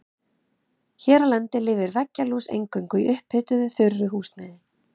Hér á landi lifir veggjalús eingöngu í upphituðu þurru húsnæði.